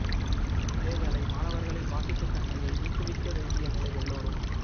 இதே வேளை மாணவர்களின் வாசிப்பு தன்மையை ஊக்குவிக்க வேண்டிய நிலை எல்லோரும்